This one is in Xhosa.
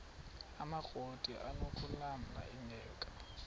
amakrot anokulamla ingeka